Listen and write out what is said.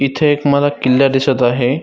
इथे एक मला किल्ला दिसत आहे.